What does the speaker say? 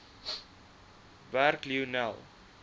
werk lionel